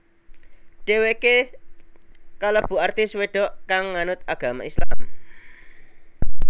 Dhéwéké kalebu artis wedok kang nganut agama Islam